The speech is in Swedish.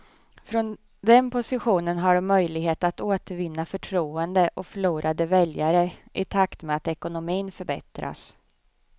Från den positionen har de möjligheter att återvinna förtroende och förlorade väljare i takt med att ekonomin förbättras.